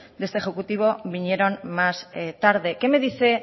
de este ejecutivo vinieron más tarde qué me dice